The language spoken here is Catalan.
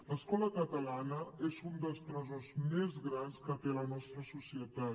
l’escola catalana és un dels tresors més grans que té la nostra societat